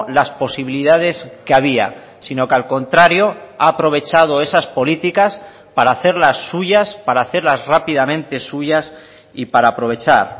las posibilidades que había sino que al contrario ha aprovechado esas políticas para hacerlas suyas para hacerlas rápidamente suyas y para aprovechar